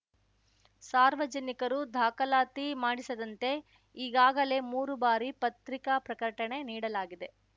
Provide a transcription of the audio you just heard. ಸಾರ್ವಜನಿಕರು ದಾಖಲಾತಿ ಮಾಡಿಸದಂತೆ ಈಗಾಗಲೇ ಮೂರು ಬಾರಿ ಪತ್ರಿಕಾ ಪ್ರಕಟಣೆ ನೀಡಲಾಗಿದೆ